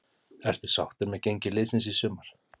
Ertu sáttur með gengi liðsins í sumar?